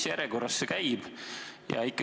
Mis järjekorras see käib?